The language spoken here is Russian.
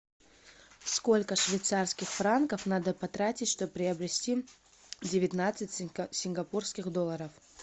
сколько швейцарских франков надо потратить чтобы приобрести девятнадцать сингапурских долларов